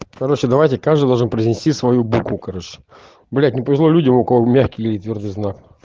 короче давайте каждый должен принести свою букву короче блять не повезло людям у кого мягкий или твёрдый знак